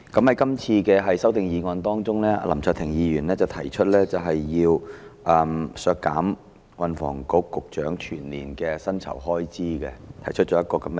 這次的修正案當中，林卓廷議員提出削減運房局局長的全年薪酬開支預算。